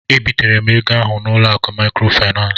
E bitere m ego ahụ n'ụlọ akụ maịkrofaịnans.